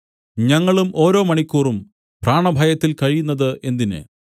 ഞങ്ങളും ഓരോ മണിക്കൂറും പ്രാണഭയത്തിൽ കഴിയുന്നത് എന്തിന്